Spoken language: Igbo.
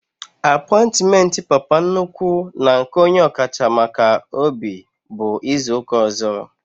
Apointiment Papa nnukwu na nke onye ọkacha maka obi bụ izuka ọzọ